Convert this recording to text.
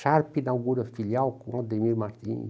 Sharp inaugura filial com o Demir Martins.